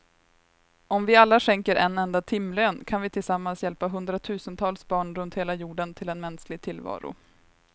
Om vi alla skänker en enda timlön kan vi tillsammans hjälpa hundratusentals barn runt hela jorden till en mänsklig tillvaro.